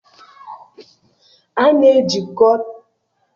A na-ejikọtakarị nkwụ na mpaghara okpomọkụ